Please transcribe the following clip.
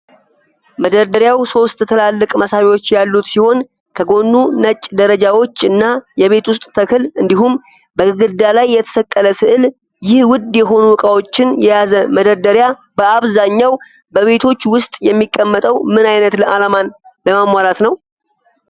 መደርደሪያው ሶስት ትላልቅ መሳቢያዎች ያሉት ሲሆን፣ ከጎኑ ነጭ ደረጃዎች እና የቤት ውስጥ ተክል እንዲሁም በግድግዳ ላይ የተሰቀለ ስዕል ።ይህ ውድ የሆኑ ዕቃዎችን የያዘ መደርደሪያ፣ በአብዛኛው በቤቶች ውስጥ የሚቀመጠው ምን አይነት ዓላማን ለማሟላት ነው?